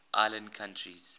island countries